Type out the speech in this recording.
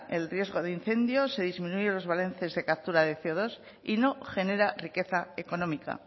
el riesgo de incendio se disminuye los balances de captura de ce o dos y no genera riqueza económica